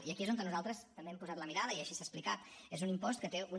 i aquí és on nosaltres també hem posat la mirada i així s’ha explicat és un impost que té una